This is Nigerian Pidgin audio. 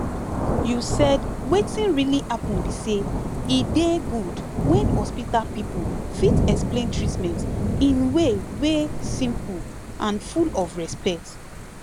you said wetin really happen be say e dey good when hospital people fit explain treatment in way wey simple and full of respect